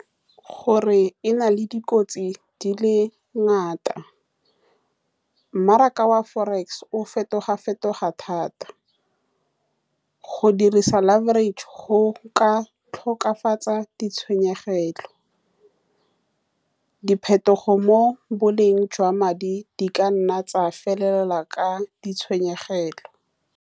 Gore e na le dikotsi di le ngata, mmaraka wa forex o fetoga-fetoga thata. Go dirisa laverage go ka tokafatsa ditshwenyegelo. Diphetogo mo boleng jwa madi di ka nna tsa felelela ka ditshwenyegelo.